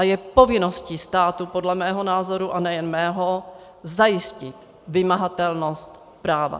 A je povinností státu podle mého názoru, a nejen mého, zajistit vymahatelnost práva.